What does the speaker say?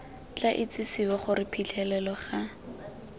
tla itsisiwe gore phitlhelelo ga